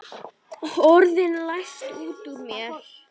Orðin læðast út úr mér.